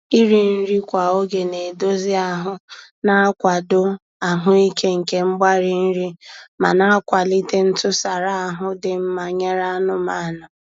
Iri nri kwa oge na-edozi ahụ na-akwado ahụike nke mgbari nri, ma na-akwalite ntụsara ahụ dị mma nyere anụmanụ.